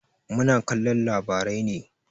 Muna kallon labarai ne.